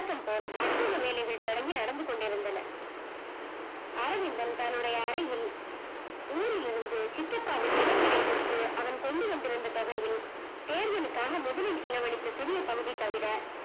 போல் அச்சயம் வேலைகள் தொடர்ந்து நடந்து கொண்டு இருந்தன அரவிந்தன் தன்னுடைய அறையில் ஊரில் இருந்து சித்தப்பாவின் நிலங்களை விற்று அதன் கொண்டு வந்திருந்த தொகையில் தேர்தலுக்காக முதலீடு செலவு அளித்த சிறிய பகுதித் தவிர